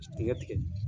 Tigɛ tigɛ